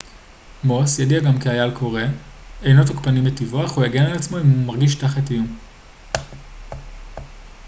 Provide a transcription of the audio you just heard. מוס ידוע גם כאייל קורא אינו תוקפני מטבעו אך הוא יגן על עצמו אם הוא מרגיש תחת איום